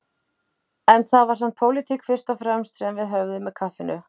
En það var samt pólitík fyrst og fremst sem við höfðum með kaffinu.